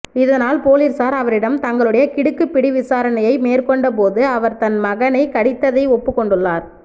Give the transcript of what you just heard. இதனால் பொலிசார் அவரிடம் தங்களுடை கிடுக்குப் பிடி விசாரணையை மேற்கொண்ட போது அவர் தன் மகனை கடித்ததை ஒப்புக் கொண்டுள்ளார்